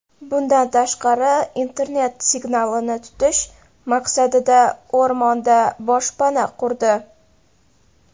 Bundan tashqari internet signalini tutish maqsadida o‘rmonda boshpana qurdi.